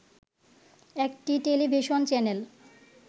একটি television channel